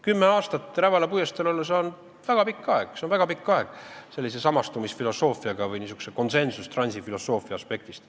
Kümme aastat Rävala puiesteel olla on väga pikk aeg, see on väga pikk aeg sellise samastumisfilosoofia või niisuguse konsensustransi filosoofia aspektist.